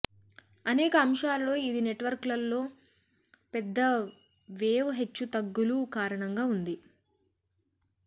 అనేక అంశాలలో ఇది నెట్వర్క్లో పెద్ద వేవ్ హెచ్చుతగ్గులు కారణంగా ఉంది